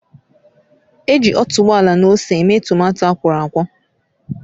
Eji otuboala na ose eme tomato akwọrọakwọ